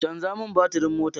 Canza min batirin motar